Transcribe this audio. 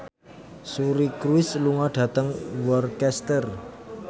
Suri Cruise lunga dhateng Worcester